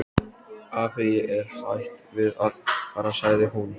Afi, ég er hætt við að fara sagði hún.